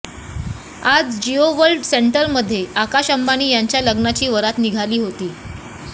आज जियो वर्ल्ड सेंटरमध्ये आकाश अंबानी यांच्या लग्नाची वरात निघाली होती